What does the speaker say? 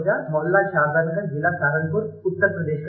I live in Mohalla Saadatganj, district Saharanpur, Uttar Pradesh